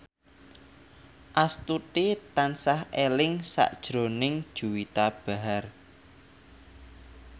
Astuti tansah eling sakjroning Juwita Bahar